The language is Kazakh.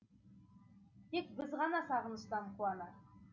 тек біз ғана сағыныштан қуанар